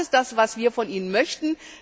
Das ist das, was wir von Ihnen möchten.